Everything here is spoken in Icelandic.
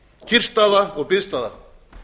kyrrstaða og biðstaða